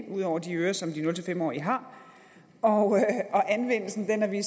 ud over de ører som de nul fem årige har og anvendelsen har vi